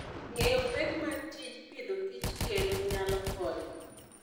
Ng'eyo pek ma tij pidhokich kelo nyalo konyo.